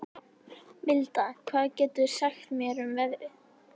Milda, hvað geturðu sagt mér um veðrið?